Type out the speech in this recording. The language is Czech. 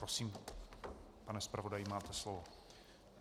Prosím, pane zpravodaji, máte slovo.